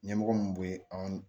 Ɲɛmɔgɔ mun be an